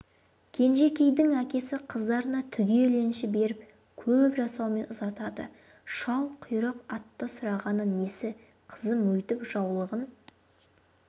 кенжекейдің әкесі қыздарына түгел енші беріп көп жасаумен ұзатады шалқұйрық атты сұрағаны несі қызым өйтіп жаулығын